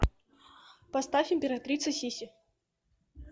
поставь императрица сисси